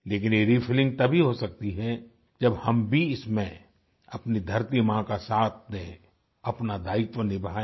लेकिन ये रिफिलिंग तभी हो सकती है जब हम भी इसमें अपनी धरतीमाँ का साथ दें अपना दायित्व निभाएँ